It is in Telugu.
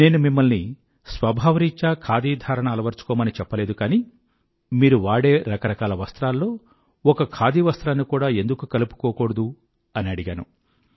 నేను మిమ్మల్ని స్వభావరీత్యా ఖాదీధారణ అలవరచుకోమని చెప్పలేదు కానీ మీరు వాడే రకరాకల వస్త్రాల్లో ఒక ఖాదీ వస్త్రాన్ని కూడా ఎందుకు కలుపుకోకూడదూ అని అడిగాను